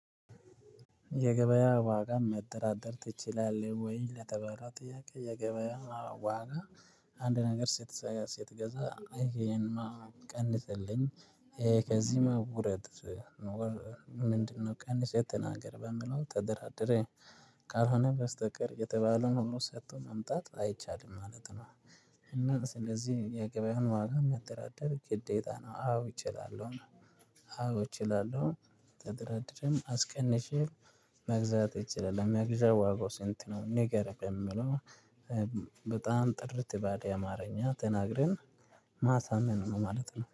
የገበያ ዋጋ መጠራጠር ትችላለህ ወይ? ለተባለው ጥያቄ የገበያ ዋጋ አንድ ነገር ሴት ስትገዛ አይ ይሄንማ ቀንስልኝ ከዚህማ ውረድ። ምንድነው? ቀንሰህ ተናገር በምለው ተደራደሬ ካልሆነ በስተቀር የተባለውን ሁሉ ሰጥቶ መምጣት አይቻልም ማለት ነው። እና ስለዚህ የገበያውን ዋጋ መደራደር ግዴታ ነው አዎ እችላለሁ። አዎ እችላለሁ። ተደራድሬም አስቀንሼ መግዛት እችላለሁ። መግዣ ዋጋው ስንት ነው ንገር በምለው። በጣም ጥርት ባለ አማርኛ ተናግረን ማሳመን ነው ማለት ነው